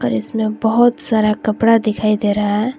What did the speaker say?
और इसमें बहुत सारा कपड़ा दिखाई दे रहा है।